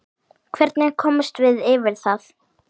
Hvernig komumst við yfir það?